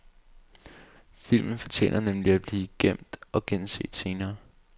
Filmen fortjener nemlig at blive gemt og genset senere.